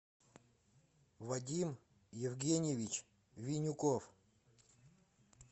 вадим евгеньевич винюков